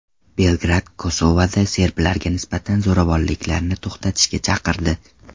Belgrad Kosovoda serblarga nisbatan zo‘ravonliklarni to‘xtatishga chaqirdi.